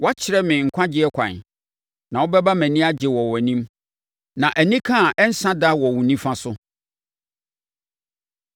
Woakyerɛ me nkwagyeɛ kwan, na wobɛma mʼani agye wɔ wʼanim, na anika a ɛrensa da wɔ wo nifa so.